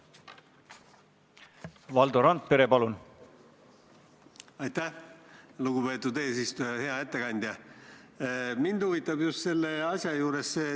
Prantslased on siin kompaniisuuruse üksusega, nad on mitu korda panustanud Ämaris.